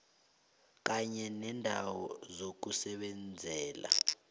kanye neendawo zokusebenzela